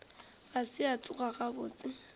ga se a tsoga gabotse